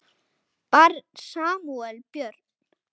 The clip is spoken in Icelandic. Barn Samúel Björn.